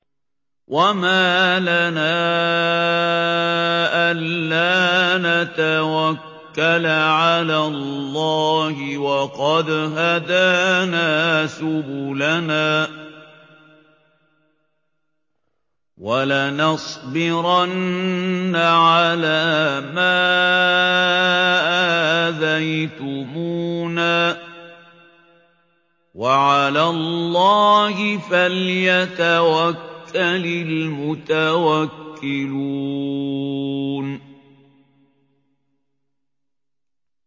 وَمَا لَنَا أَلَّا نَتَوَكَّلَ عَلَى اللَّهِ وَقَدْ هَدَانَا سُبُلَنَا ۚ وَلَنَصْبِرَنَّ عَلَىٰ مَا آذَيْتُمُونَا ۚ وَعَلَى اللَّهِ فَلْيَتَوَكَّلِ الْمُتَوَكِّلُونَ